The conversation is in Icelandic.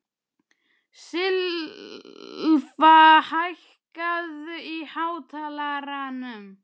Silfa, hækkaðu í hátalaranum.